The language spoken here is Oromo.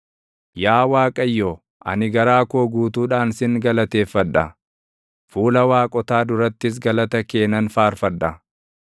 Yaa Waaqayyo, ani garaa koo guutuudhaan sin galateeffadha; fuula “waaqotaa” durattis galata kee nan faarfadha.